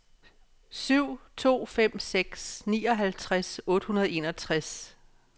syv to fem seks nioghalvtreds otte hundrede og enogtres